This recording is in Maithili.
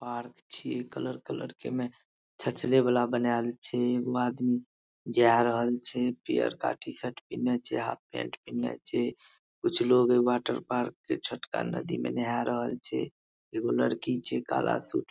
पार्क छीये कलर कलर के ओय में छछले वाला बनाल छै एगो आदमी जा रहल छै पियरका टी-शर्ट पिन्हले छै हाफ पेंट पिन्हले छै कुछ लोग वाटरपार्क के छोटका नदी में नाहा रहल छै एगो लड़की छै काला सूट --